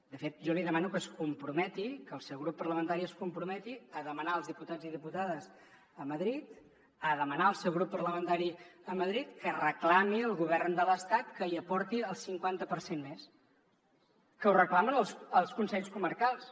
de fet jo li demano que es comprometi que el seu grup parlamentari es comprometi a demanar als diputats i diputades a madrid a demanar al seu grup parlamentari a madrid que reclami al govern de l’estat que hi aporti el cinquanta per cent més que ho reclamen els consells comarcals